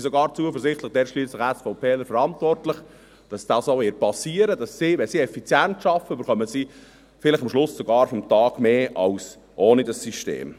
Ich bin sogar zuversichtlich, denn dort ist schliesslich ein SVPler verantwortlich, dass das auch passieren wird, dodass sie, wenn sie effizient arbeiten, am Ende des Tages vielleicht sogar mehr erhalten, als ohne dieses System.